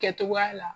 Kɛcogoya la